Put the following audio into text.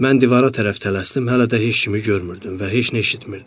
Mən divara tərəf tələsdim, hələ də heç kimi görmürdüm və heç nə eşitmirdim.